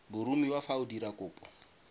boromiwa fa o dira kopo